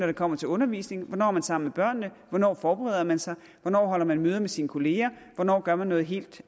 det kommer til undervisning hvornår er man sammen med børnene hvornår forbereder man sig hvornår holder man møder med sine kolleger hvornår gør man noget helt